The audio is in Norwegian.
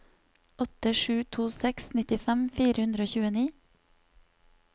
åtte sju to seks nittifem fire hundre og tjueni